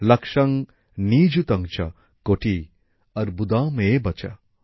লক্ষ্যং নিযুতং চ্ কোটিঃ অর্বুদম এব চ